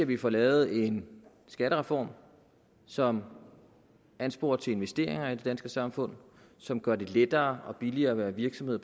vi får lavet en skattereform som ansporer til investeringer i det danske samfund som gør det lettere og billigere at være virksomhed